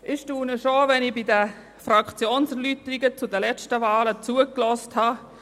Ich bin erstaunt über die Resultate, nachdem ich den Fraktionserläuterungen der letzten Wahlen zugehört habe.